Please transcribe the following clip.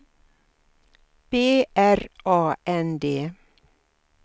B R A N D